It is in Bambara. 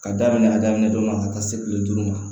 Ka daminɛ a daminɛ don dɔ la ka taa se kile duuru ma